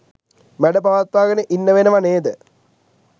මැඩපවත්වාගෙන ඉන්න වෙනව නේද?